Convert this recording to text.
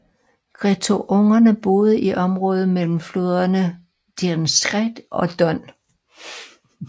Greutungerne boede i området mellem floderne Dnestr og Don